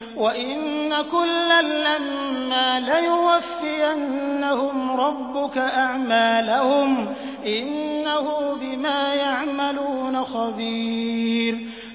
وَإِنَّ كُلًّا لَّمَّا لَيُوَفِّيَنَّهُمْ رَبُّكَ أَعْمَالَهُمْ ۚ إِنَّهُ بِمَا يَعْمَلُونَ خَبِيرٌ